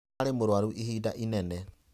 Ararĩ mũrũaru ihinda unene.